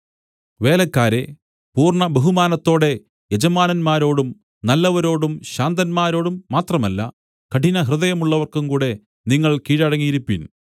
വേലക്കാരേ പൂർണ്ണബഹുമാനത്തോടെ യജമാനന്മാരോടും നല്ലവരോടും ശാന്തന്മാരോടും മാത്രമല്ല കഠിനഹൃദയമുള്ളവർക്കും കൂടെ നിങ്ങൾ കീഴടങ്ങിയിരിപ്പിൻ